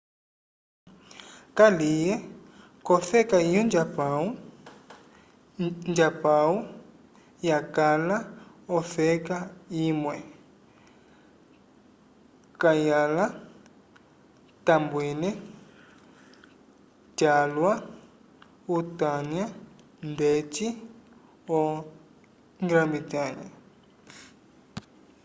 kaliye k'ofeka yo njapãwu njapãwu yakala ofeka imwe kayala tambwile calwa utanya ndeci o grã-bretnha